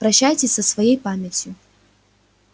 прощайтесь со своей памятью